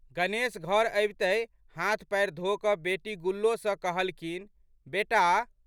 गणेश घर अबितहि हाथ पएर धोकऽ बेटी गुल्लो सँ कहलखिन, बेटा!